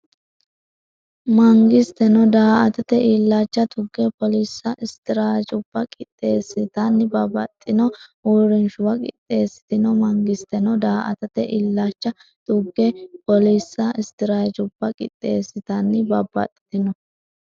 Mangisteno daa”atate illacha tugge poolissa, straateejubba qixx- eessatenni babbaxxitino uurrinshuwa qixxeessitino Mangisteno daa”atate illacha tugge poolissa, straateejubba qixx- eessatenni babbaxxitino.